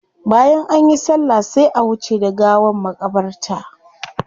Bayan anyi sallah sai a wuce da gawa makabarta.